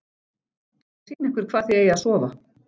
Ég skal sýna ykkur hvar þið eigið að sofa